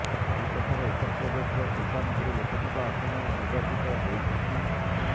ଚଳିତ ଥର ଉତ୍ତରପ୍ରଦେଶର ସୁଲତାନପୁର ଲୋକସଭା ଆସନରୁ ନିର୍ବାଚିତ ହୋଇଛନ୍ତି